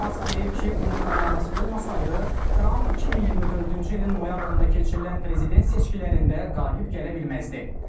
Mask deyib ki, onun komandası olmasaydı, Tramp 2024-cü ilin noyabrında keçirilən prezident seçkilərində qalib gələ bilməzdi.